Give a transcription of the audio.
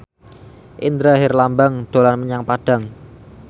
Indra Herlambang dolan menyang Padang